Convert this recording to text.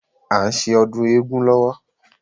À n ṣe ọdún éégún lọ́wọ́